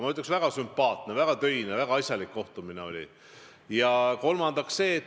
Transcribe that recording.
Ma ütleks, väga sümpaatne, väga töine, väga asjalik kohtumine oli.